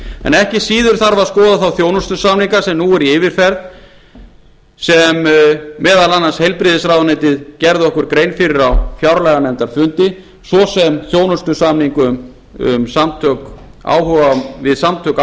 en ekki þarf síður að skoða þá þjónustusamninga sem eru nú í yfirferð sem meðal annars heilbrigðisráðuneytið gerði okkur grein fyrir á fjárlaganefndarfundi svo sem þjónustusamning við samtök